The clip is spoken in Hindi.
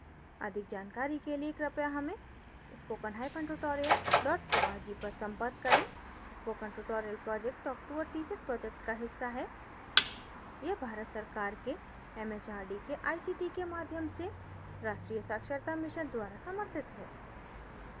अधिक जानकारी के लिए कृपया हमें spoken–tutorial org पर संपर्क करें spoken tutorial project talk to a teacher project का हिस्सा है यह भारत सरकार के एम एच आर डी के a सी टी के माध्यम से राष्ट्रीय साक्षरता मिशन द्वारा समर्थित है